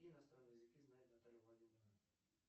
какие иностранные языки знает наталья владимировна